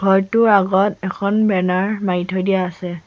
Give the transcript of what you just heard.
ঘৰটোৰ আগত এখন বেনাৰ মাৰি থৈ দিয়া আছে।